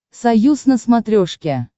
союз на смотрешке